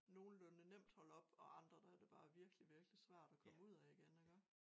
Nogenlunde nemt holde op og andre der er det bare virkelig virkelig svært at komme ud af igen iggå